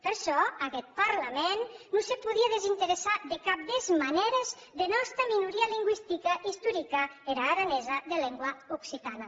per çò aguest parlament non se podie desinteressar de cap des manères dera nòsta minoria lingüistica istorica era aranesa de lengua occitana